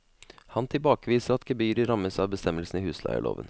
Han tilbakeviser at gebyret rammes av bestemmelsene i husleieloven.